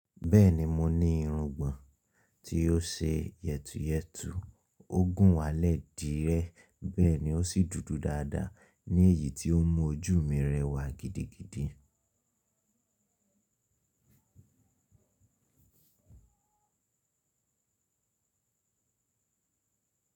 Bẹ́ẹ̀ni mo ní irungbọ̀n tí ó ṣe yẹtuyẹtu, ó gùn walẹ̀ dírẹ́ bẹ́ẹ̀ ní ó sì dúdú dáadáa ní èyí tí ó mú ojú mi rẹwà gidigidi.